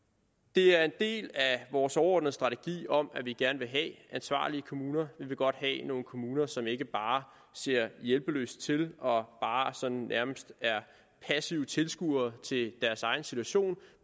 det er en del af vores overordnede strategi om at vi gerne vil have ansvarlige kommuner vi vil godt have nogle kommuner som ikke bare ser hjælpeløst til og nærmest er passive tilskuere til deres egen situation